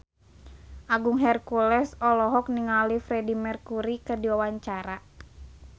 Agung Hercules olohok ningali Freedie Mercury keur diwawancara